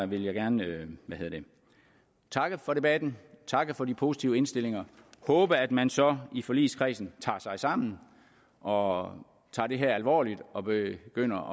vil jeg gerne takke for debatten takke for de positive indstillinger og håbe at man så i forligskredsen tager sig sammen og tager det her alvorligt og begynder